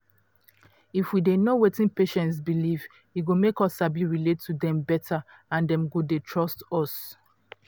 if we dey know wetin patients believe e go make us sabi relate to dem better and dem go dey trust us.